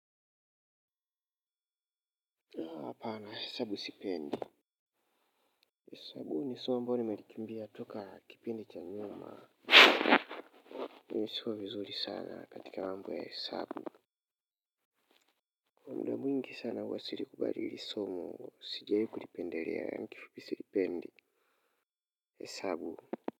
Hapa na hesabu sipendi. Hesabu ni somo ambalo nimelikimbia tangu kipindi cha nyuma. Mimi sifanyi vizuri sana katika masuala ya hesabu. Mara mwingi sana huwa sikubaliani na somo ambalo sijazoea kulipendelea, kwa kifupi silipendi hesabu.